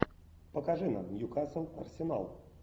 покажи нам ньюкасл арсенал